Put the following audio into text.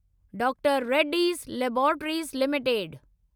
doctor Reddy's laboratories limited